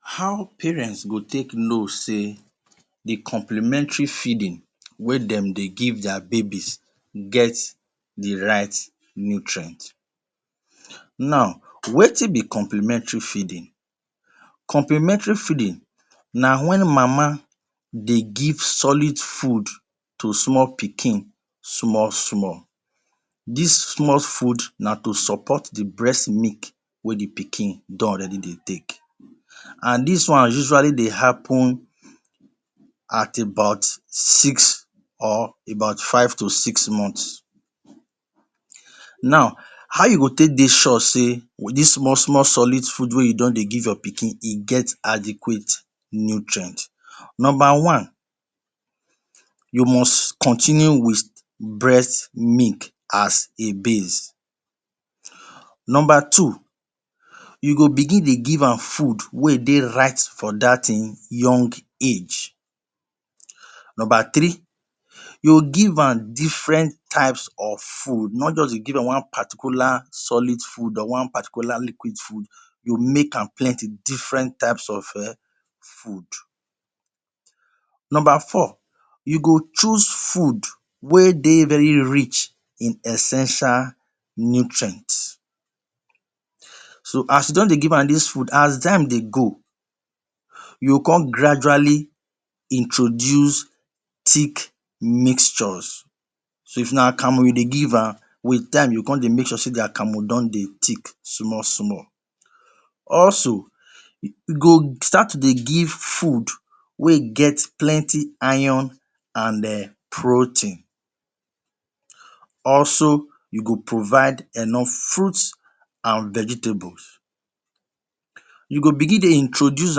How parent go take know sey the complimentary feeding wey them they give their babies get the right nutrient? Now, wetin be complimentary feeding? Complimentary feeding na when mama dey give solid food to small pikin, small-small. This small food na to support the breast milk wey the pikin don already dey take and this one usually they happen at about six or about five to six months, now how you go take dey sure say this small-small solid food wey you give your pikin e get adequate nutrient. Number one: you must continue with breast milk as a base Number two: you go dey give am food wey dey right for that him young age You go dey give am different type of food, not just one particular solid food or one particular liquid food you go make am plenty different type of food Number four: you go choose food wey dey very rich in essential nutrient, so as you don dey give am this food as time dey go you go come gradually introduce thick mixture, if na akamu you dey give am you go come they make sure say e dey thick small-small. Also you go start to dey give food wey get plenty iron and protein, also you go provide enough fruit and vegetables. You go begin dey introduce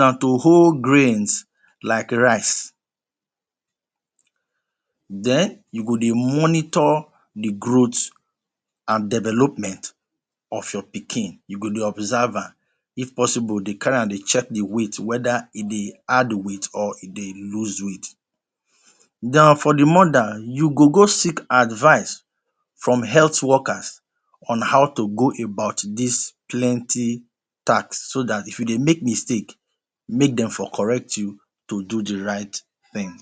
am to whole grains like rice, then you go dey monitor the growth and development of your pikin, dey observe am if possible dey carry am dey check the weight whether e dey add weight or e dey loose weight and for the mother you go go seek advice from the health workers on how to go about this plenty task so that if you dey make mistake make them for correct you to do the right thing